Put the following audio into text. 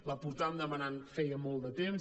la portàvem demanant feia molt de temps